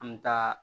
An bɛ taa